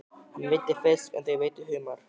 Hann veiddi fisk en þau veiddu humar.